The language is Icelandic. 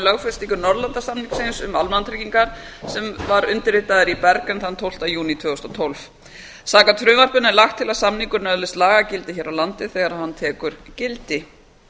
um lögfestingu norðurlandasamnings um almannatryggingar sem var undirritaður í bergen þann tólfta júní tvö þúsund og tólf samkvæmt frumvarpinu er lagt til að samningurinn öðlist lagagildi hér á landi þegar hann tekur gildi